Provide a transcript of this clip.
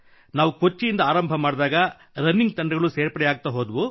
ನಾವು ಕೊಚ್ಚಿಯಿಂದ ಆರಂಭ ಮಾಡಿದಾಗ ರನ್ನಿಂಗ್ ತಂಡಗಳು ಸೇರ್ಪಡೆಯಾಗುತ್ತಾ ಹೋದವು